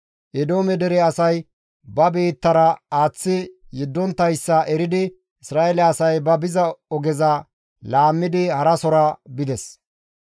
Eedoome dere asay ba biittara aaththi yeddonttayssa eridi Isra7eele asay ba biza ogeza laammidi harasora bides.